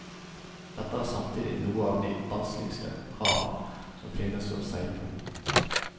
Dette er samtidig noe av de vanskeligste hav som finnes å seile på.